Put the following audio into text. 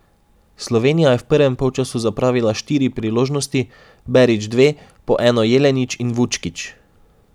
Slovenija je v prvem polčasu zapravila štiri priložnosti, Berič dve, po eno Jelenič in Vučkič.